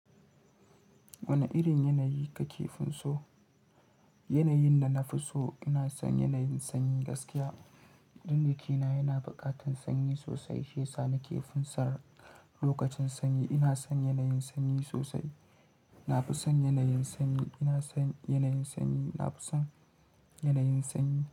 Wane irin yanayi kake fin so? Yanayin da na fi so, ina son yanayin sanyi gaskiya. Jiki na yana buƙatar sanyi sosai, shiyasa nake finsa lokacin sanyi. Ina son yanayin sanyi sosai. Na fi son yanayin sanyi. Ina son yanayin sanyi. Na fi son yanayin sanyi.